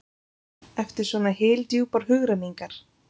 eftir svo hyldjúpar hugrenningar?